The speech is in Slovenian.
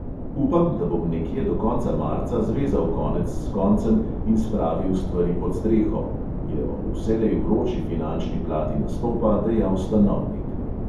"Upam, da bom nekje do konca marca zvezal konec s koncem in spravil stvari pod streho," je o vselej vroči finančni plati nastopa dejal stanovnik.